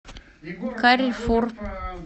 каррефур